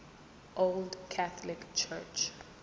old catholic church